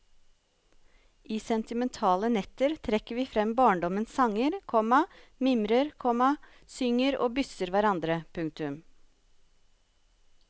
I sentimentale netter trekker vi frem barndommens sanger, komma mimrer, komma synger og bysser hverandre. punktum